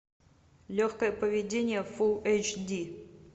легкое поведение фулл эйч ди